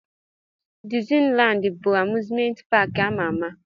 Dizni Landi bụ amuzment paki ama ama.